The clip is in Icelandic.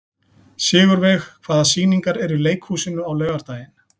Sigurveig, hvaða sýningar eru í leikhúsinu á laugardaginn?